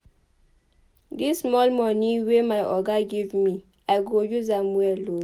Dis small moni wey my oga give me I go use am well o.